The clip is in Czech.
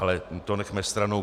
Ale to nechme stranou.